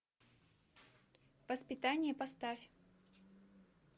воспитание поставь